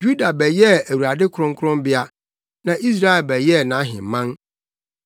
Yuda bɛyɛɛ Awurade kronkronbea na Israel bɛyɛɛ nʼaheman.